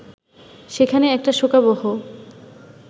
সেখানে একটা শোকাবহ